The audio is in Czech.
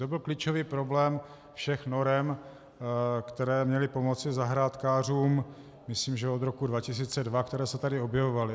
To byl klíčový problém všech norem, které měly pomoci zahrádkářům, myslím, že od roku 2002, které se tady objevovaly.